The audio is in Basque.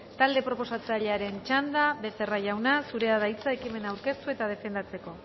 talde proposatzailearen txanda becerra jauna zurea da hitza ekimena aurkeztu eta defendatzeko